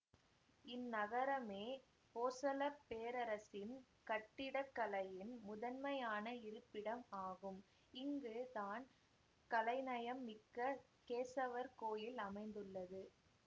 இந்நகரமே போசள பேரரசின் கட்டிடக்கலையின் முதன்மையான இருப்பிடம் ஆகும் இங்கு தான் கலைநயம் மிக்க கேசவர் கோயில் அமைந்துள்ளது